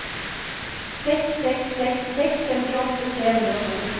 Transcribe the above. seks seks seks seks femtiåtte tre hundre og to